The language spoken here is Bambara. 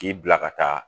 K'i bila ka taa